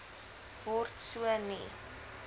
word so nie